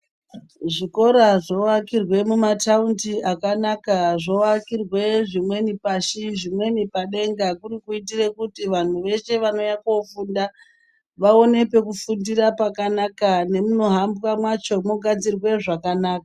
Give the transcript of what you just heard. Zvikora zvovakirwe mumatawundi akanaka. Zvovakirwe zvimweni pashi, zvimweni padenga kuri kuitire kuti vanhu vese vanouye kofunda vawone pekufundira pakanaka nemumihambwa macho mugadzirwe zvakanaka.